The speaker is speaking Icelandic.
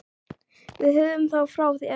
Við höfum það frá þér!